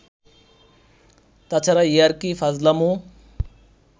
তাছাড়া ইয়ার্কি-ফাজলামো